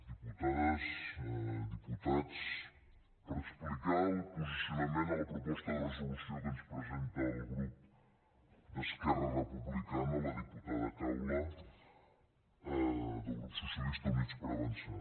diputades diputats per explicar el posicionament a la proposta de resolució que ens presenta el grup d’esquerra republicana la diputada caula del grup socialistes i units per avançar